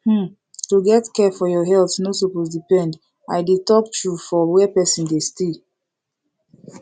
hmm to get care for your health no suppose depend i dey talk true for where person dey stay